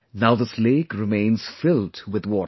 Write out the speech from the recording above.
Now this lake remains filled with water